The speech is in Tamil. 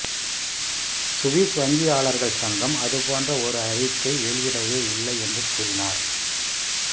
சுவிஸ் வங்கியாளர்கள் சங்கம் அது போன்ற ஒரு அறிக்கை வெளியிடவே இல்லை என்று கூறினார்